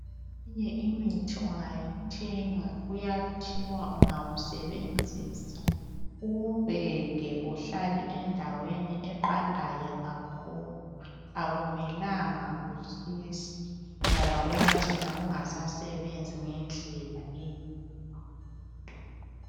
Eminye imithi ungayithenga kuyathiwa ungayisebenzisa uwubeke uhlale endweni eqandayo kakhulu akumelanga kutshise ngoba uyacina ungasasebenzi ngedlela eyiyo.